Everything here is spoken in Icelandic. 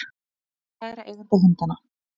Hún hyggst kæra eiganda hundanna